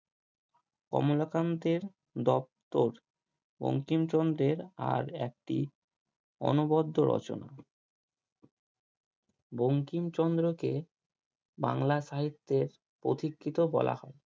কমলাকান্তের দপ্তর বঙ্কিমচন্দ্রের আর একটি অনবদ্ধ রচনা বঙ্কিমচন্দ্রকে বাংলা সাহিত্যের প্রতীক্ষিত বলা হয়